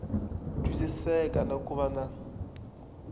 twisiseka na ku va na